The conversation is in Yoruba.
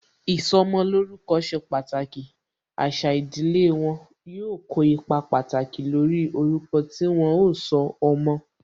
Ìsọmolórúkọ ṣe pàtàkì, àṣà ìdílé wọn, yóò kó ipa pàtàkì lórí orúkọ tí wọn ó sọ ọmọ